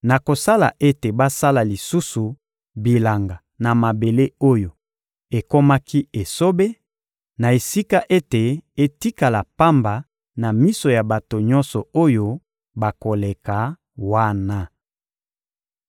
nakosala ete basala lisusu bilanga na mabele oyo ekomaki esobe, na esika ete etikala pamba na miso ya bato nyonso oyo bakoleka wana.